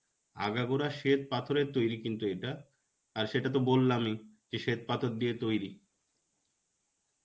আগা গোড়া শ্বেতপাথরের তৈরী কিন্তু এটা. আর সেটাতো বললামই. যে শ্বেতপাথর দিয়ে তৈরী.